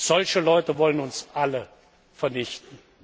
solche Leute wollen uns alle vernichten.